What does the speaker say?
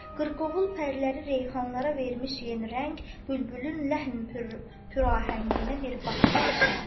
Qırqovul pərləri reyhanlara vermiş yeni rəng, bülbülün ləhni pürrahənginə bir bax nə qəşəng.